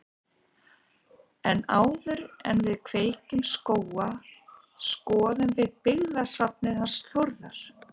En áður en við kveðjum Skóga skoðum við byggðasafnið hans Þórðar.